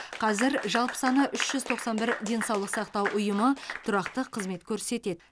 қазір жалпы саны үш жүз тоқсан бір денсаулық сақтау ұйымы тұрақты қызмет көрсетеді